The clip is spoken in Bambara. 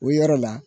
O yɔrɔ la